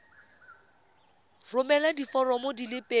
romela diforomo di le pedi